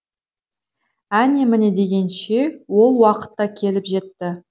әне міне дегенше ол уақыт та келіп жетті